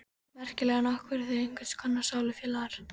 Merkilegt nokk voru þau einhvers konar sálufélagar.